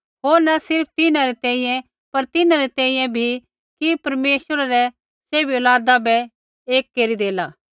होर न सिर्फ़ तिन्हां री तैंईंयैं पर तिन्हां री तैंईंयैं बी कि परमेश्वरै रै सैभ औलादा बै एक केरी देला